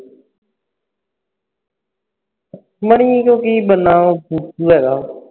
ਮਣੀਕੋਲੋਂ ਕੀ ਬਣਨਾ ਉਹ ਫੁਦੂ ਹੈਗਾ